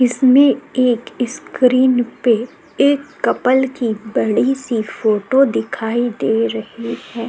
इसमे एक इस्क्रीन पे एक कपल की बड़ी सी फोटो दिखाई दे रही है।